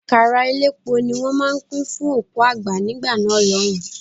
Àkàrà elépo ní wọ́n máa ń pín fún òkú àgbà nígbà náà lọ́hùn-ún.